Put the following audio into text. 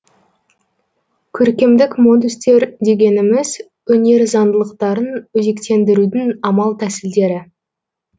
көркемдік модустер дегеніміз өнер заңдылықтарын өзектендірудің амал тәсілдері